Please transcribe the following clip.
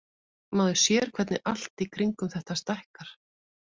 Maður sér hvernig allt í kringum þetta stækkar.